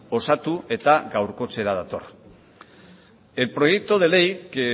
osatu eta gaurkotzera dator el proyecto de ley que